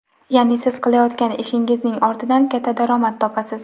Ya’ni siz qilayotgan ishingizning ortidan katta daromad topasiz.